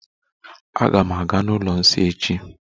Aga m aga n'ụlọ nsọ echi.